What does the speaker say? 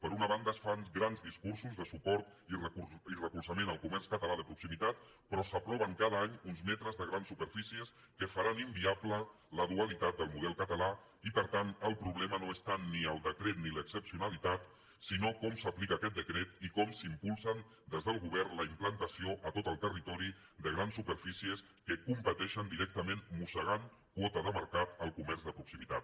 per una banda es fan grans dis·cursos de suport i recolzament al comerç català de pro·ximitat però s’aproven cada any uns metres de grans superfícies que faran inviable la dualitat del model ca·talà i per tant el problema no és tant ni el decret ni l’excepcionalitat sinó com s’aplica aquest decret i com s’impulsen des del govern la implantació a tot el terri·tori de grans superfícies que competeixen directament mossegant quota de mercat al comerç de proximitat